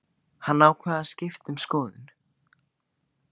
Hann ákvað að skipta um skoðun.